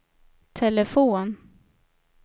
telefon